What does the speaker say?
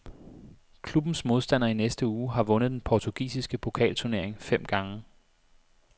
Klubbens modstander i næste uge har vundet den portugisiske pokalturnering fem gange.